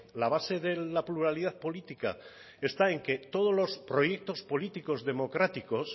la base de la pluralidad política está en que todos los proyectos políticos democráticos